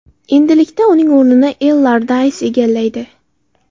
Endilikda uning o‘rnini Ellardays egallaydi.